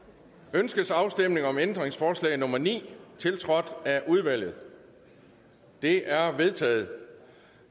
ønskes afstemning om ændringsforslag nummer ni tiltrådt af udvalget det er vedtaget